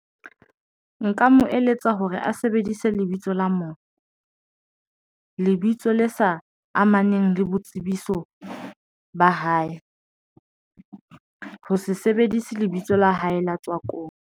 Nka mo eletsa hore a sebedise lebitso la lebitso le sa amaneng le boitsebiso ba hae, ha se sebedise lebitso la hae la .